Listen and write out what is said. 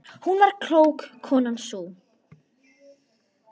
Hún var klók, konan sú.